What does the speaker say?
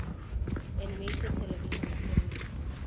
animated television series